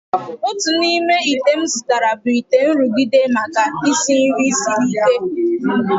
Otu n'ime ite m zụtara bụ ite nrụgide, maka isi nri siri ike.